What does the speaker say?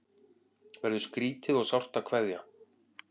Verður skrýtið og sárt að kveðja